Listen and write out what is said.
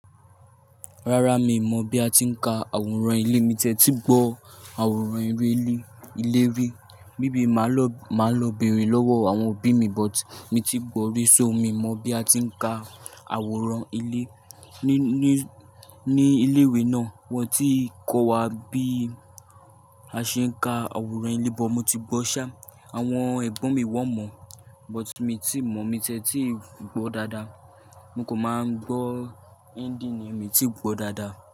Rárá mi ò mọ̀ bí a ti ń ka àwòrán ilé, mi ti ẹ́ tí gbọ́ àwòrán ere li ilé rì. Maybe máa lọ, máa lọ bẹ̀erẹ̀ lọ́wọ́ àwọn òbí mi, but mi ti gbọ́ ri so, mi mọ bí a tí ń ka àwòrán ilé ní, ní, ní ilé ìwé náà. Wọ́n ti i kọ́ wa bí a ṣe ń ka àwòrán ilé, but mo ti gbọ́ ṣá, àwọn ẹ̀gbọ́n mi wọ́n mọ̀, but mi tí mọ̀, mi tiẹ́ tí gbọ́ dáadáa. Mo kò máa ń gbọ́, endìng ni, mi tíi gbọ́ dáadáa.